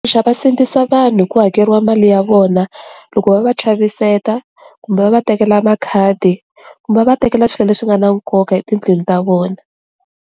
va sindzisa vanhu hi ku hakeriwa mali ya vona loko va va chaviseta kumbe va va tekela makhadi kumbe va va tekela swilo leswi nga na nkoka etindlwini ta vona.